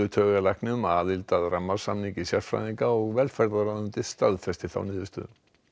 taugalækni um aðild að rammasamningi sérfræðinga og velferðarráðuneytið staðfesti þá niðurstöðu